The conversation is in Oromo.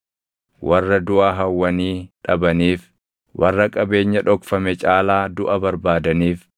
Warra duʼa hawwanii dhabaniif warra qabeenya dhokfame caalaa duʼa barbaadaniif